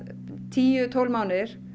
tíu til tólf mánuðir